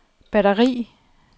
batteri